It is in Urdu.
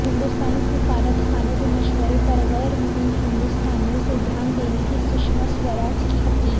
ہندستانی سفارتخانوں کے مشورہ پر غیرمقیم ہندستانیوں سے دھیان دینے کی سشما سوراج کی اپیل